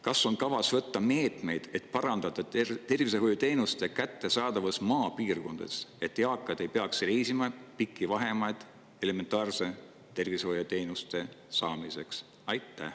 Kas on kavas võtta meetmeid, et parandada tervishoiuteenuste kättesaadavust maapiirkondades, et eakad ei peaks reisima pikki vahemaid elementaarse tervishoiuteenuse saamiseks?